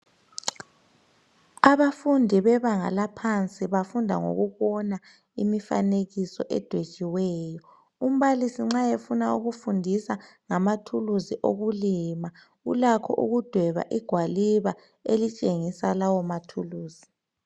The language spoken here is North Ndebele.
Abafundi bebanga laphansi bafunda ngokubona imfanekiso edwetshiweyo. Umbalisi nxa efuna ukufundisa ngamathulusi okulima ulakho ukudweba igwaliba elitshengisa lawo mathulusi.